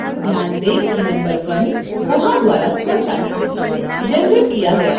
ध्यान दें कि नंबर 1 koha द्वारा स्वचालित रूप से जनरेट किया गया है